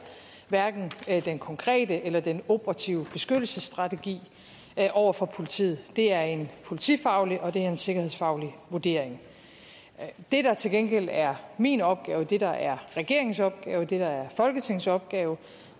hverken den konkrete eller den operative beskyttelsesstrategi over for politiet det er en politifaglig og det er en sikkerhedsfaglig vurdering det der til gengæld er min opgave det der er regeringens opgave det der er folketingets opgave